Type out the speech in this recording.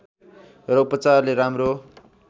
र उपचारले राम्रो